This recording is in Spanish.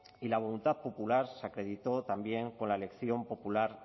y la voluntad popular se acreditó también con la elección popular